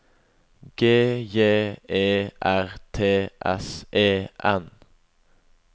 G J E R T S E N